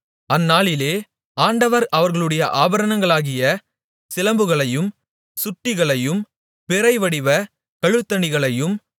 அந்நாளிலே ஆண்டவர் அவர்களுடைய ஆபரணங்களாகிய சிலம்புகளையும் சுட்டிகளையும் பிறைவடிவ கழுத்தணிகளையும்